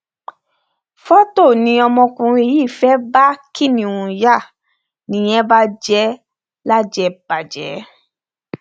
fọtò ni ọmọkùnrin yìí fẹẹ bá kiníùn yá nìyẹn bà jẹ lájẹbàjẹ